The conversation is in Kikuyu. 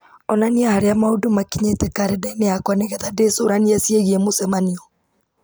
onania harĩa maũndũ makinyĩte karenda-inĩ yakwa nĩgetha ndĩcũranie ciĩgiĩ mũcemanio